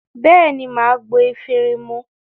Bẹ́ẹ̀ ní, mà á gbo efirin mu.